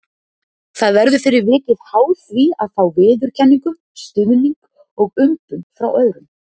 Það verður fyrir vikið háð því að fá viðurkenningu, stuðning og umbun frá öðrum.